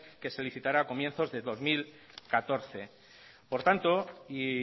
que se licitará a comienzos de dos mil catorce por tanto y